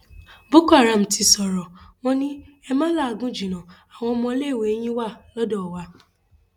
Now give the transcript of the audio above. boko haram ti sọrọ wọn ni ẹ ma làágùn jìnnà àwọn ọmọléèwé yín wà lọdọ wa